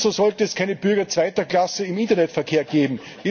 Ebenso sollte es keine Bürger zweiter Klasse im Internetverkehr geben.